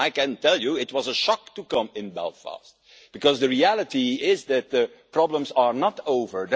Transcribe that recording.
So I can tell you it was a shock to come to Belfast, because the reality is that the problems are not over.